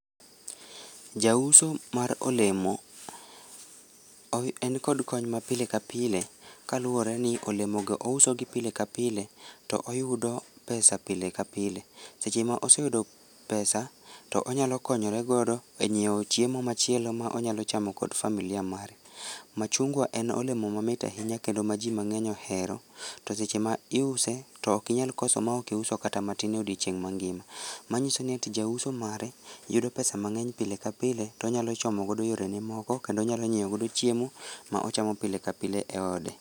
Jauso mar olemo, en kod kony ma pile ka pile, kaluore ni olemogo ousogi pile ka pile, to oyudo pesa pile ka pile, seche ma oseyudo pesa, to onyalo konyoregodo e nyieo chiemo machielo ma onyalo chamo kod familia mare. Machungwa en oilemo mamit ahinya kendo ma jii man'eny ohero, to seche ma iuse to okinyal koso maokiuso kata matin e odiechieng mangima, manyiso ni ati jauso mare yudo pesa mang'eny pile ka pile to onyalo chomo go yore ne moko kendo onyalo nyieo godo chiemo, ma ochamo pile ka pile e ode